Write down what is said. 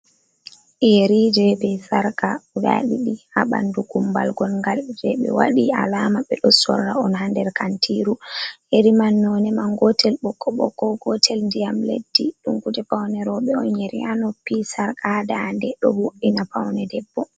Yerije be sarkawa ɗidi ha ɓandu gumbal ngongal, je ɓe waɗi alama ɓe ɗo sorra'on ha nder kantiru. Yeeri man none man gotel ɓokko-ɓokki gotel ndiyam leddi. Ɗum kuuje paune roɓe'on yeri ha noppi sarka ha dande ɗo vu’ina paunde debbo.